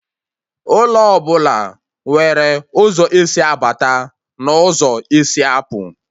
Ụlọ ọbụla nwere ụzọ esi abata n'ụzọ esi apụ